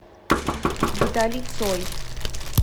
виталий цой